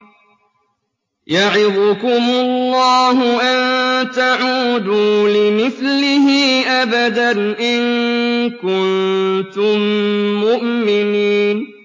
يَعِظُكُمُ اللَّهُ أَن تَعُودُوا لِمِثْلِهِ أَبَدًا إِن كُنتُم مُّؤْمِنِينَ